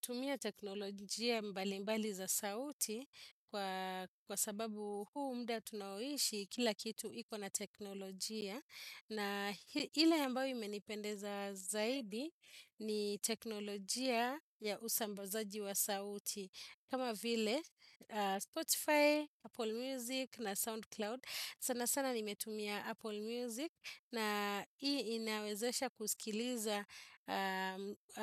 Tumia teknolojia mbali mbali za sauti kwa sababu huu muda tunaoishi kila kitu iko na teknolojia na ile ambayo imenipendeza zaidi ni teknolojia ya usambazaji wa sauti. Kama vile Spotify, Apple Music na SoundCloud, sana sana nimetumia Apple Music na hii inawezesha kuskiliza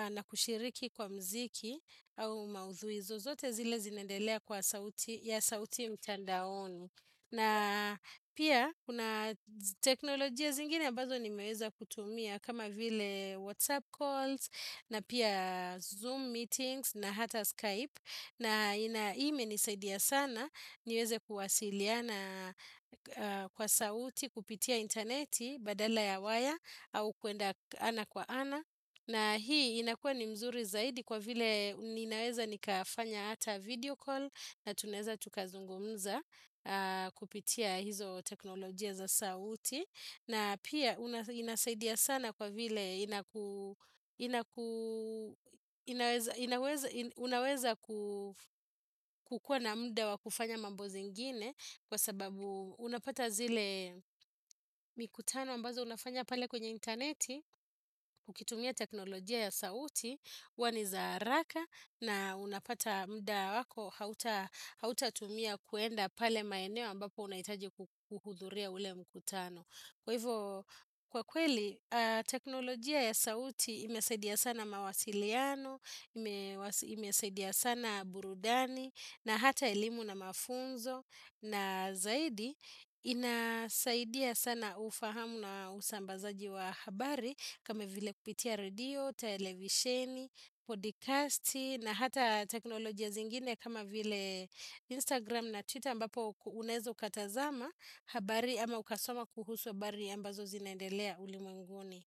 na kushiriki kwa mziki au mauthui zozote zile zinaendelea kwa sauti ya sauti mtandaoni. Na pia kuna teknolojia zingine ambazo nimeweza kutumia kama vile WhatsApp calls na pia Zoom meetings na hata Skype na ina hii imenisaidia sana niweze kuwasiliana kwa sauti kupitia interneti badala ya wire au kuenda ana kwa ana. Na hii inakuwa ni mzuri zaidi kwa vile ninaweza nikafanya hata video call na tunaeza tukazungumza kupitia hizo teknolojia za sauti. Na pia inasaidia sana kwa vile. Unaweza kukua na muda wa kufanya mambo zingine kwa sababu unapata zile mikutano ambazo unafanya pale kwenye interneti. Ukitumia teknolojia ya sauti huwa ni za haraka na unapata muda wako hautatumia kuenda pale maeneo ambapo unahitaji kuhudhuria ule mkutano kwa hivo kwa kweli teknolojia ya sauti imesaidia sana mawasiliano, imesaidia imesaidia sana burudani, na hata elimu na mafunzo, na zaidi, inasaidia sana ufahamu na usambazaji wa habari kama vile kupitia radio, televisheni, podcasti, na hata teknolojia zingine kama vile Instagram na Twitter ambapo unaeza ukatazama habari, ama ukasoma kuhusu habari ambazo zinaendelea ulimwenguni.